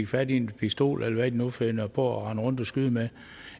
fat i en pistol eller hvad de nu finder på at rende rundt og skyde med